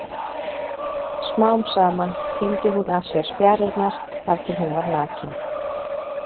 Smám saman tíndi hún af sér spjarirnar þar til hún var nakin.